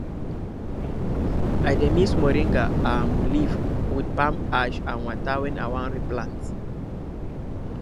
i dey mix moringa um leaf with palm ash and water when i wan replant